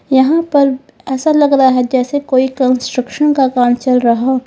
यहां पर ऐसा लग रहा है जैसे कोई कंस्ट्रक्शन का काम चल रहा हो।